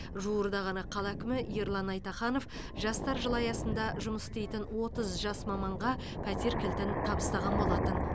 жуырда ғана қала әкімі ерлан айтаханов жастар жылы аясында жұмыс істейтін отыз жас маманға пәтер кілтін табыстаған болатын